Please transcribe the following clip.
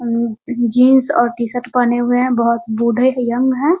Jeans और T-shirt पहनें हुए हैं बहुत बूढ़े हैं यंग है ।